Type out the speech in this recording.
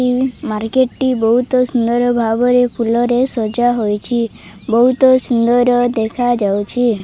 Market ଟି ବହୁତ ସୁନ୍ଦର ଭାବରେ ଫୁଲରେ ସଜା ହୋଇଚି ବହୁତ ସୁନ୍ଦର ଦେଖାଯାଉଚି।